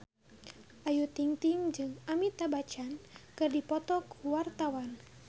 Ayu Ting-ting jeung Amitabh Bachchan keur dipoto ku wartawan